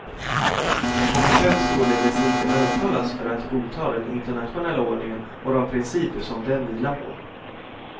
Många behöver således inte övertalas för att godta den internationella ordningen och de principer som den vilar på.